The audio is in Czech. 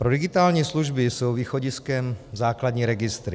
Pro digitální služby jsou východiskem základní registry.